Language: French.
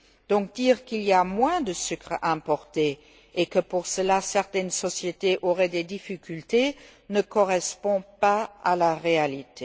Donc, dire qu'il y a moins de sucre importé et que, pour cela, certaines sociétés auraient des difficultés ne correspond pas à la réalité.